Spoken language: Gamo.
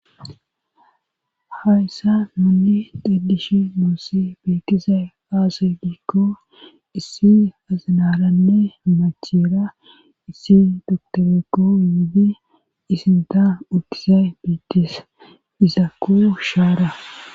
Hayssa muunni daddish muussi beetise aasa giikko issi azinaranne macheera issi doktorekko yudi isinta utise beettise isa ku shaara.